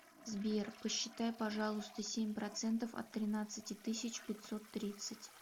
сбер посчитай пожалуйста семь процентов от тринадцати тысяч пятьсот тридцать